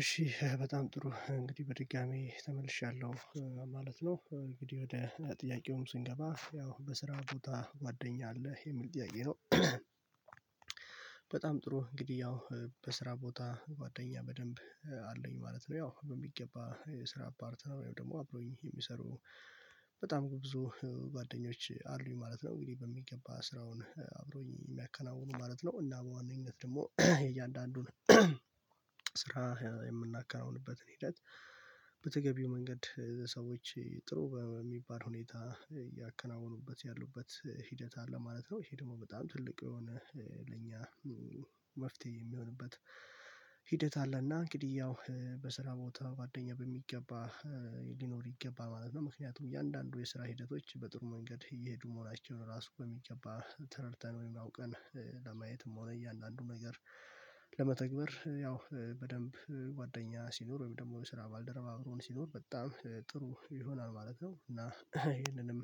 እሺ በጣም ጥሩ እንግዲህ በድጋሚ ተመልሻለሁ ማለት ነው እንግዲህ ወደ ጥያቄውም ስንገባ ያው በስራ ቦታ ጓደኛ አለ የሚል ጥያቄ ነው። በጣም ጥሩ እንግዲህ ያው በስራ ቦታ ጓደኛ በደንብ አለኝ ማለት ነው ያው በሚገባ የስራ ፓርትነር ወይም ደግሞ አብሮኝ የሚሰሩ በጣም ብዙ ጓደኞች አሉኝ ማለት ነው። እንግዲህ በሚገባ ስራውን አብሮኝ የሚያከናውኑ ማለት ነው እና በዋነኝነት ደግሞ እያንዳንዱን ስራ የምናከናውንበትን ሂደት በተገቢው መንገድ ሰዎች ጥሩ በሚባል ሁኔታ ያከናወኑበት ያሉበት ሂደት አለ ማለት ነው። ይሄ ደግሞ በጣም ትልቅ የሆነ ለኛ መፍትሄ የሚሆንበት ሂደት አለና እንግዲህ ያው በስራ ቦታ ጓደኛ በሚገባ ሊኖር ይገባል ማለት ነው። ምክንያቱም እያንዳንዱ የስራ ሂደቶች በጥሩ መንገድ እየሄዱ መሆናቸውን ራሱ በሚገባ ተረድተን ወይም አውቀን ለማየትም ሆነ እያንዳንዱን ነገር ለመተግበር ያው በደንብ ጓደኛ ሲኖር ወይም ደግሞ በስራ ባልደረባ አብሮን ሲኖር በጣም ጥሩ ይሆናል ማለት ነው። እና ይሄንንም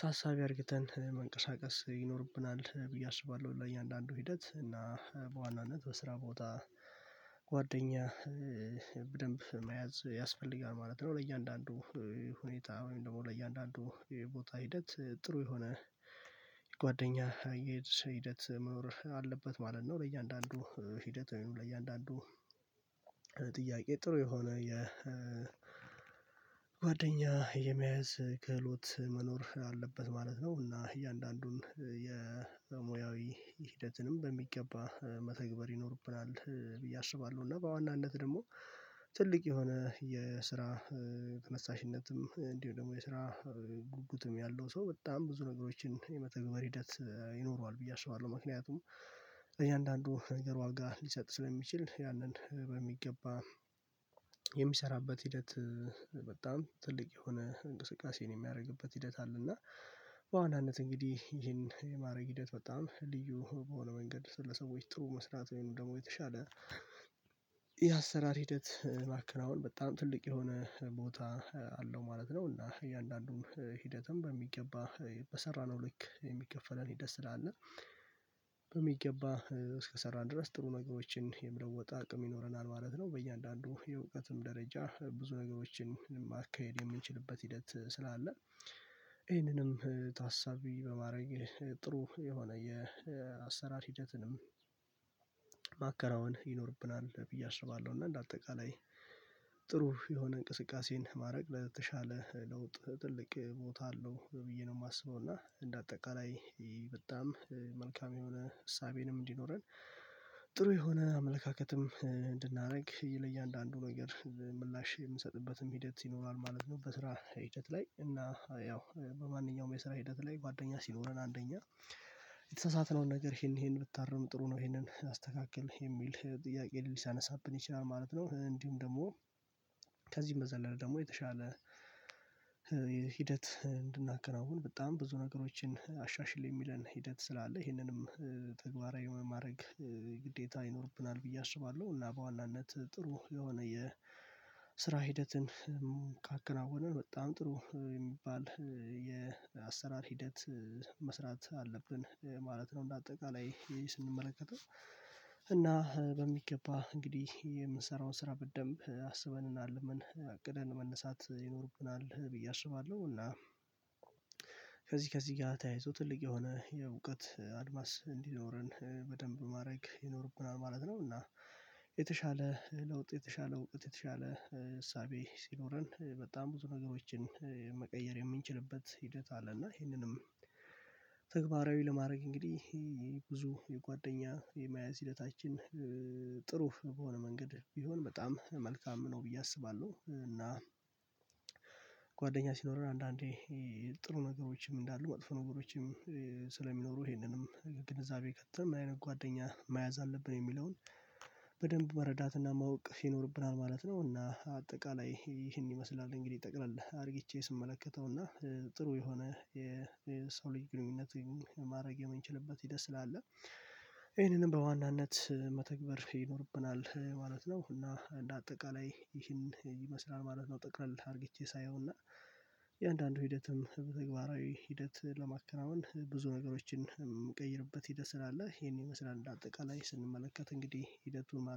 ታሳቢ አርግተን መንቀሳቀስ ይኖርብናል ብዬ አስባለሁ ለእያንዳንዱ ሂደት እና በዋናነት በስራ ቦታ ጓደኛ በደንብ መያዝ ያስፈልጋል ማለት ነው። ለእያንዳንዱ ሁኔታ ወይም ደግሞ ለእያንዳንዱ ቦታ ሂደት ጥሩ የሆነ ጓደኛ ሂደት መኖር አለበት ማለት ነው ለእያንዳንዱ ሂደት ለእያንዳንዱ ጥያቄ ጥሩ የሆነ የጓደኛ የመያዝ ክህሎት መኖር አለበት ማለት ነው። እና እያንዳንዱን የሙያዊ ሂደትንም በሚገባ መተግበር ይኖርብናል ብዬ አስባለሁ እና በዋናነት ደግሞ ትልቅ የሆነ የስራ ተነሳሽነትም እንዲሁ ደግሞ የስራ ጉጉትም ያለው ሰው በጣም ብዙ ነገሮችን የመተግበር ሂደት ይኖረዋል ብዬ አስባለሁ። ምክንያቱም ለእያንዳንዱ ነገር ዋጋ ሊሰጥ ስለሚችል ያንን በሚገባ የሚሰራበት ሂደት በጣም ትልቅ የሆነ እንቅስቃሴን የሚያደርግበት ሂደት አለ። እና በዋናነት እንግዲህ ይሄን የማድረግ ሂደት በጣም ልዩ በሆነ መንገድ ስለሰዎች ጥሩ መስራት ወይም ደግሞ የተሻለ የአሰራር ሂደት ማከናወን በጣም ትልቅ የሆነ ቦታ አለው ማለት ነው። እና እያንዳንዱም ሂደትም በሚገባ በሰራነው ልክ የሚከፈለን ሂደት ስላለ በሚገባ እስከሰራን ድረስ ጥሩ ነገሮችን የመለወጥ አቅም ይኖረናል ማለት ነው። በእያንዳንዱ የእውቀትም ደረጃ ብዙ ነገሮችን ማካሄድ የምንችልበት ሂደት ስላለ ይህንንም ታሳቢ በማረግ ጥሩ የሆነ የአሰራር ሂደትንም ማከናውን ይኖርብናል ብዬ አስባለሁ። እና እንደ አጠቃላይ ጥሩ የሆነ እንቅስቃሴን ማድረግ ለተሻለ ለውጥ ትልቅ ቦታ አለው ብዬ ነው የማስበው እና እንደ አጠቃላይ በጣም መልካም የሆነ እሳቤንም እንዲኖረን ጥሩ የሆነ አመለካከትም እንድናደርግ ይሄ ለእያንዳንዱ ነገር ምላሽ የምሰጥበትም ሂደት ይኖራል ማለት ነው። በስራ ሂደት ላይ እና ያው በማንኛውም የስራ ሂደት ላይ ጓደኛ ሲኖረን አንደኛ የተሳሳተነውን ነገር ይሄን ይሄን ብታርም ጥሩ ነው ይሄንን አስተካክል የሚል ጥያቄ ልያነሳብን ይችላል ማለት ነው። እንዲሁም ደግሞ ከዚህም በዘለለ ደግሞ የተሻለ ሂደት እንድናከናውን በጣም ብዙ ነገሮችን አሻሽል የሚለን ሂደት ስላለ ይሄንንም ተግባራዊ በማድረግ ግዴታ ይኖርብናል ብዬ አስባለሁ። እና በዋናነት ጥሩ የሆነ የስራ ሂደትን ካከናወንን በጣም ጥሩ የሚባል የአሰራር ሂደት መስራት አለብን ማለት ነው። እንደ አጠቃላይ ስንመለከተው እና በሚገባ እንግዲህ የምንሰራው ስራ በደንብ አስበንና አልመን አቅደን መነሳት ይኖርብናል ብዬ አስባለሁ እና ከዚህ ከዚህ ጋር ተያይዞ ትልቅ የሆነ የእውቀት አድማስ እንዲኖረን በደንብ ማድረግ ይኖርብናል ማለት ነው። እና የተሻለ ለውጥ የተሻለ እውቀት የተሻለ እሳቤ ሲኖረን በጣም ብዙ ነገሮችን መቀየር የምንችልበት ሂደት አለ እና ይሄንንም ተግባራዊ ለማድረግ እንግዲህ ይሄ ብዙ የጓደኛ የመያዝ ሂደታችን ጥሩ በሆነ መንገድ ቢሆን በጣም መልካም ነው ብዬ አስባለሁ። እና ጓደኛ ሲኖርህ አንዳንዴ ጥሩ ነገሮችም እንዳሉ መጥፎ ነገሮችም ስለሚኖሩ ይሄንንም ግንዛቤ ከተን ምን አይነት ጓደኛ መያዝ አለብን የሚለውን በደንብ መረዳትና ማወቅ ይኖርብናል ማለት ነው። እና አጠቃላይ ይህን ይመስላል እንግዲህ ጠቅለል አድርግቼ ስመለከተው እና ጥሩ የሆነ የሰው ልጅ ግንኙነት ወይም ማድረግ የምንችልበት ሂደት ስላለ ይሄንንም በዋናነት መተግበር ይኖርብናል ማለት ነው። እና እንደ አጠቃላይ ይህን ይመስላል ማለት ነው ጠቅለልህ አድርጌቼ ሳየው እና እያንዳንዱ ሂደትም በተግባራዊ ሂደት ለማከናወን ብዙ ነገሮችን የምንቀይርበት ሂደት ስላለ ይሄን ይመስላል እንደ አጠቃላይ ስንመለከት እንግዲህ ሂደቱ ማለት